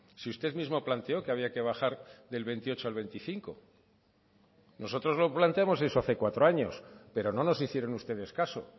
si usted mismo planteó que había que bajar del veintiocho al veinticinco nosotros lo planteamos eso hace cuatro años pero no nos hicieron ustedes caso